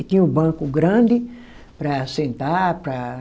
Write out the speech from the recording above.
E tinha o banco grande para sentar para